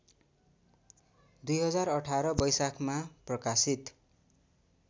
२०१८ वैशाखमा प्रकाशित